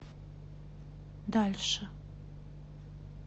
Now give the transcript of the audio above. дальше